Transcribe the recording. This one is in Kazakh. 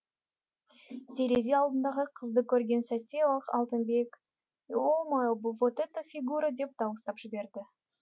терезе алдындағы қызды көрген сәтте ақ алтынбек е о о мое вот это фигура деп дауыстап жіберді